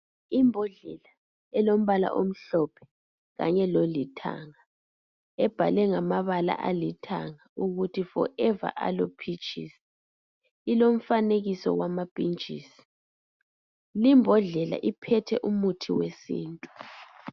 Ibhodlela elombala omhlophe kanye lolithanga embalwe ngamabala alithanga ukuthi 'Forever Aloe Peaches'. Ilomfanekiso wama phitshisi. Le bhodlela iphethe umuthi wesintu.